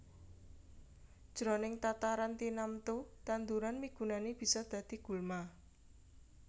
Jroning tataran tinamtu tanduran migunani bisa dadi gulma